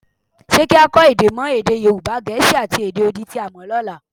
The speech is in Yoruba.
Ṣé kí á kọ́ èdè mọ́ èdè Yorùbá, Gẹ̀ẹ́sì, àti èdè odi tí a mọ lọ́la?